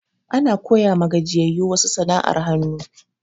Ana koya ma gajiyayu wasu sana'ar hanu